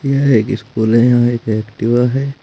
यह एक स्कूल है यहां एक एक्टिवा है।